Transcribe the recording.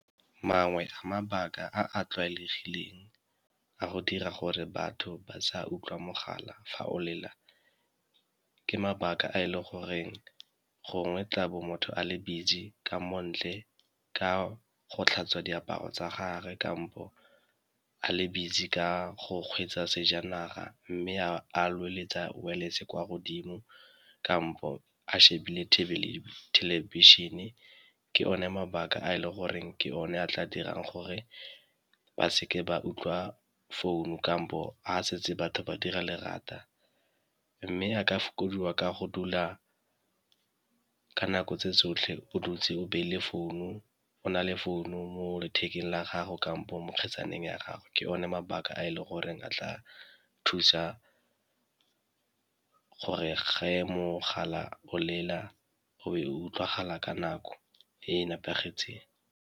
Mangwe a mabaka a a tlwaelegileng a go dira gore batho ba sa utlwa mogala fa o lela ke mabaka a e le goreng gongwe tlabo motho a le busy ka mo ntle ka go tlhatswa diaparo tsa gagwe, kampo a le busy ka go kgweetsa sejanaga mme a kwa godimo kampo a shebile thelebišhene ke one mabaka a e le goreng ke one a tla dirang gore ba seke ba utlwa founu kampo a setse batho ba dira lerata. Mme a ka fokodiwa ka go dula ka nako tse tsotlhe o dutse o beile founu, o na le founu mo lethekeng la gago kampo mo kgetsaneng ya gagwe, ke one mabaka a e le goreng a tla thusa gore ge mogala o lela o e utlwagala ka nako e e nepagetseng.